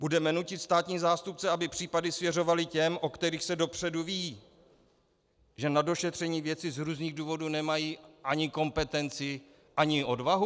Budeme nutit státní zástupce, aby případy svěřovali těm, o kterých se dopředu ví, že na došetření věci z různých důvodů nemají ani kompetenci, ani odvahu?